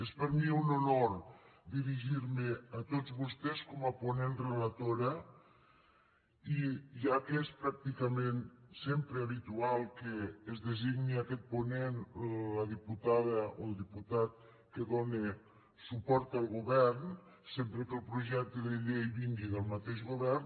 és per a mi un honor dirigir me a tots vostès com a ponent relatora ja que és pràcticament sempre habitual que es designi aquest ponent la diputada o diputat que dóna suport al govern sempre que el projecte de llei vingui del mateix govern